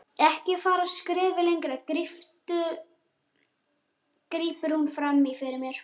Ekki fara skrefi lengra, grípur hún fram í fyrir mér.